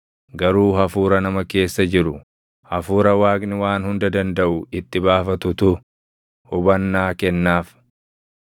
Garuu hafuura nama keessa jiru, hafuura Waaqni Waan Hunda Dandaʼu itti baafatutu hubannaa kennaaf.